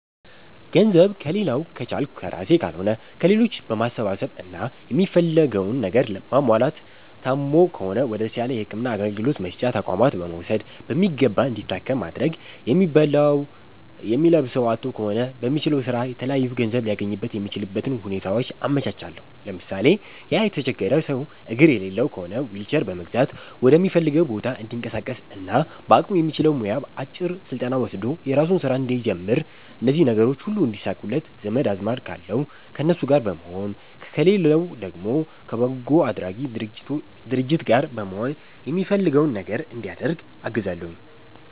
ገንዘብ ከሌላዉ ከቻልኩ ከራሴ ካልሆነ ከሌሎች በማሰባሰብ እና የሚፈልገዉን ነገር ማሟላት ታሞ ከሆነ ወደ ተሻለ የህክምና አገልግሎት መስጫ ተቋማት በመዉሰድ በሚገባ እንዲታከም ማድረግ የሚበላዉ የሚለብሰዉ አጥቶ ከሆነ በሚችለዉ ስራ የተለያዩ ገንዘብ ሊያገኝበት የሚችልበትን ሁኔታዎች አመቻቻለሁ ለምሳሌ፦ ያ የተቸገረ ሰዉ አግር የሌለዉ ከሆነ ዊልቸር በመግዛት ወደሚፈልገዉ ቦታ እንዲንቀሳቀስና በአቅሙ የሚችለዉ ሙያ አጭር ስልጠና ወስዶ የራሱን ስራ እንዲጀምር እነዚህ ነገሮች ሁሉ እንዲሳኩለት ዘመድ አዝማድ ካለዉ ከነሱ ጋር በመሆን ከሌለዉ ደግሞ ከበጎ አድራጊ ድርጅት ጋር በመሆን የሚፈልገዉ ነገር እንዲያደርግ አግዛለሁኝ